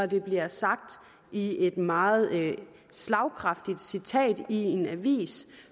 det bliver sagt i et meget slagkraftigt citat i en avis